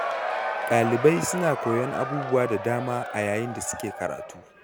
Ɗalibai suna koyon abubuwa da dama a yayin da suke karatu.